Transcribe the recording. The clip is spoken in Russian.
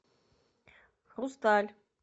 хрусталь